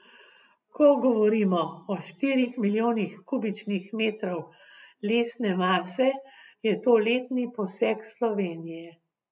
Ko govorimo o štirih milijonih kubičnih metrov lesne mase, je to letni posek Slovenije.